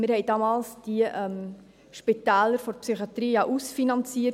Wir hatten die Spitäler der Psychiatrie damals ja ausfinanziert;